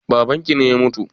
Babanki ne ya mutu?